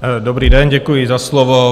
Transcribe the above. Dobrý den, děkuji za slovo.